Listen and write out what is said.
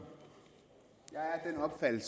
alt